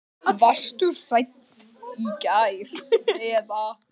Varstu hrædd í gær eða?